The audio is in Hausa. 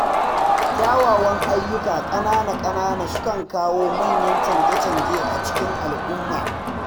Kyawawan ayyuka ƙanana sukan kawo manyan canje-canje a cikin al’umma.